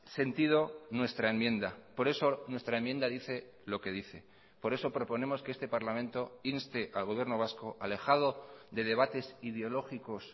sentido nuestra enmienda por eso nuestra enmienda dice lo que dice por eso proponemos que este parlamento inste al gobierno vasco alejado de debates ideológicos